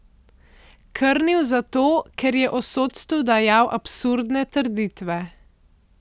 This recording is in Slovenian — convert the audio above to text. Krnil zato, ker je o sodstvu dajal absurdne trditve.